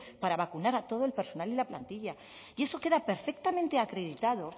para vacunar a todo el personal y la plantilla y eso queda perfectamente acreditado